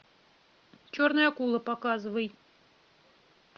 черная акула показывай